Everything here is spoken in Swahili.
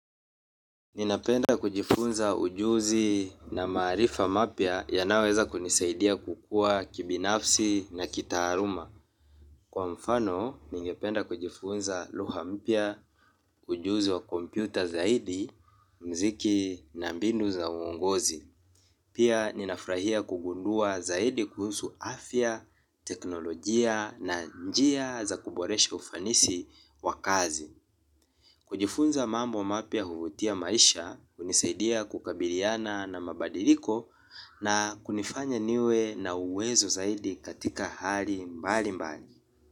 Ninapenda kujifunza ujuzi na maarifa mapya yanayoweza kunisaidia kukua kibinafsi na kitaaluma. Kwa mfano, ningependa kujifunza lugha mpya, ujuzi wa kompyuta zaidi, muziki na mbinu za uongozi. Pia, ninafurahia kugundua zaidi kuhusu afya, teknolojia na njia za kuboresha ufanisi wa kazi. Kujifunza mambo mapya huvutia maisha, hunisaidia kukabiliana na mabadiliko na kunifanya niwe na uwezo zaidi katika hali mbalimbali.